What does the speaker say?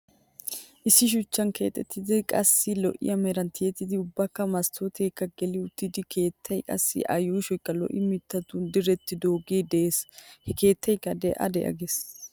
Issi shuchchan keexettidi qassi lo'iya meran tiyettidi ubbaakka masttooteekka geli uttida keettaay qassi a yuushoykka lo'ya mittatu direttidoogee dees. He keettaykka de'a de'a gees.